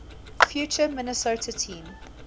future minnesota team